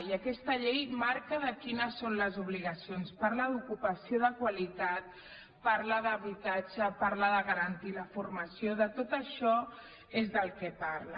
i aquesta llei marca quines són les obligacions parla d’ocupació de qualitat parla d’habitatge parla de garantir la formació de tot això és del que parla